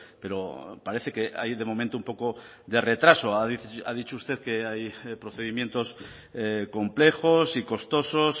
pero parece que hay de momento un poco de retraso ha dicho usted que hay procedimientos complejos y costosos